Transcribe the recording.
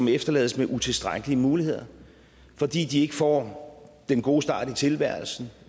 efterlades med utilstrækkelige muligheder fordi de ikke får den gode start i tilværelsen